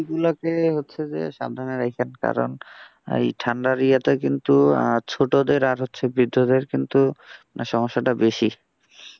পিচ্চি গুলোকে হচ্ছে যে সাবধানে রাখেন কারণ এই ঠান্ডা র ইয়েতে কিন্তু আহ ছোটদের আর হচ্ছে বৃদ্ধদের কিন্তু সমস্যাটা বেশি।